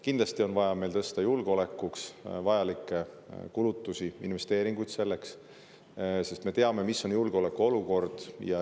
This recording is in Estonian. Kindlasti on meil vaja tõsta julgeolekuks vajalikke kulutusi, teha investeeringuid, sest me teame, milline on julgeolekuolukord.